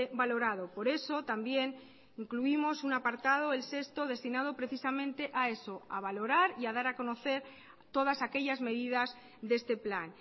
valorado por eso también incluimos un apartado el sexto destinado precisamente a eso a valorar y a dar a conocer todas aquellas medidas de este plan